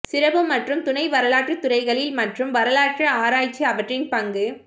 சிறப்பு மற்றும் துணை வரலாற்று துறைகளில் மற்றும் வரலாற்று ஆராய்ச்சி அவற்றின் பங்கு